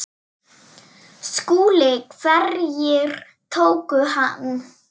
SKÚLI: Hverjir tóku hann?